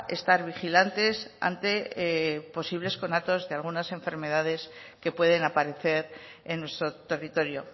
estar vigilantes ante posibles conatos de algunas enfermedades que pueden aparecer en nuestro territorio